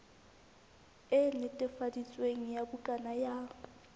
e netefaditsweng ya bukana ya